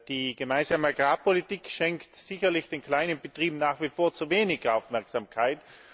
Die Gemeinsame Agrarpolitik schenkt sicherlich den kleinen Betrieben nach wie vor zu wenig Aufmerksamkeit.